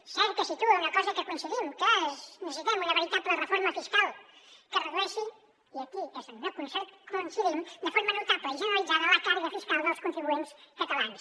és cert que situa una cosa en què coincidim que necessitem una veritable reforma fiscal que redueixi i aquí és on no coincidim de forma notable i generalitzada la càrrega fiscal dels contribuents catalans